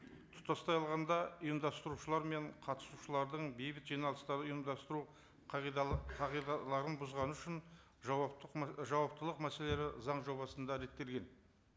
тұтастай алғанда ұйымдастырушылар мен қатысушылардың бейбіт жиналыстар ұйымдастыру қағидаларын бұзғаны үшін жауаптылық мәселелері заң жобасында реттелген